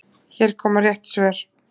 Hér koma rétt svör